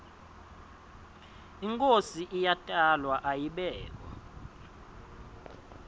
inkhosi iyatalwa ayibekwa